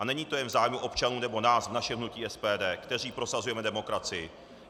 A není to jen v zájmu občanů nebo nás, v našem hnutí SPD, kteří prosazujeme demokracii.